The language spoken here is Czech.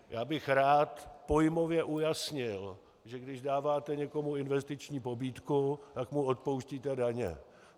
Já bych rád pojmově ujasnil, že když dáváte někomu investiční pobídku, tak mu odpouštíte daně.